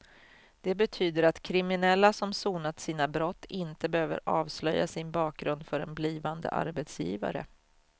Det betyder att kriminella som sonat sina brott inte behöver avslöja sin bakgrund för en blivande arbetsgivare.